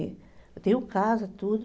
Eu tenho casa, tudo.